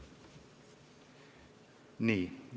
Nii.